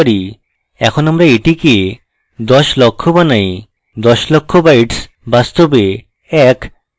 এখন আমরা এটিকে দশ লক্ষ বানাইদশ লক্ষ bytes বাস্তবে এক